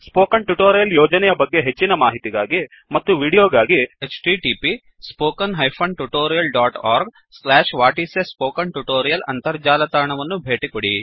spoken tutorial ಯೋಜನೆಯ ಬಗ್ಗೆ ಹೆಚ್ಚಿನ ಮಾಹಿತಿಗಾಗಿ ಮತ್ತು ವೀಡಿಯೋಗಾಗಿ 1 ಅಂತರ್ಜಾಲ ತಾಣವನ್ನು ಭೇಟಿಕೊಡಿ